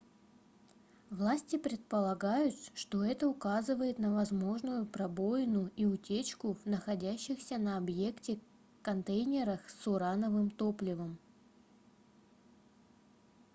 власти предполагают что это указывает на возможную пробоину и утечку в находящихся на объекте контейнерах с урановым топливом